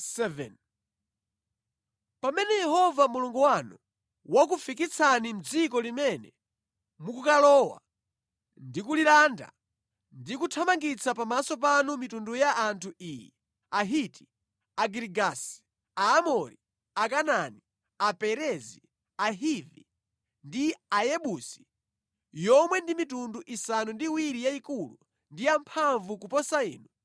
Pamene Yehova Mulungu wanu wakufikitsani mʼdziko limene mukukalowa ndi kulilanda ndi kuthamangitsa pamaso panu mitundu ya anthu iyi: Ahiti, Agirigasi, Aamori, Akanaani, Aperezi, Ahivi ndi Ayebusi; yomwe ndi mitundu isanu ndi iwiri yayikulu ndi yamphamvu kuposa inu;